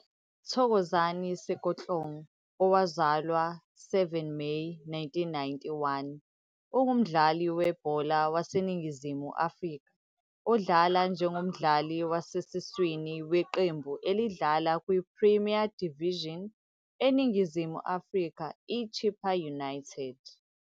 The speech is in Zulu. Thokozani Sekotlong, owazalwa 7 Meyi 1991, ungumdlali webhola waseNingizimu Afrika odlala njengomdlali wasesiswini weqembu elidlala kwiPremier Division eNingizimu Afrika iChippa United.